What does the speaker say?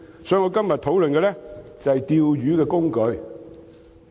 所以，我今天討論的就是"釣魚"的工具。